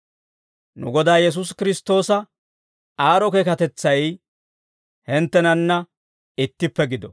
Nu Godaa Yesuusi Kiristtoosa aad'd'o keekatetsay hinttenanna ittippe gido.